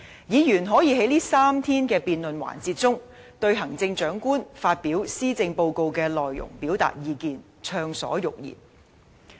議員可以在這3天的辯論環節中，對行政長官發表的施政報告的內容表達意見，暢所欲言。